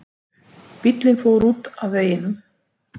Bíllinn fór út af veginum